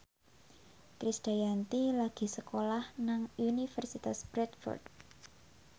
Krisdayanti lagi sekolah nang Universitas Bradford